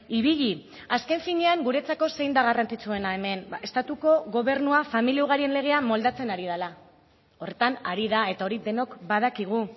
ibili azken finean guretzako zein da garrantzitsuena hemen estatuko gobernua familia ugarien legea moldatzen ari dela horretan ari da eta hori denok badakigu